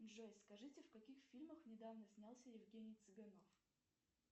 джой скажите в каких фильмах недавно снялся евгений цыганов